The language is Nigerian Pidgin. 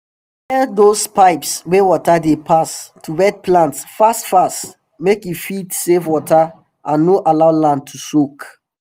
we dey repair dose pipes wey water dey pass to wet plants fast fast make e fit save water and no allow land too soak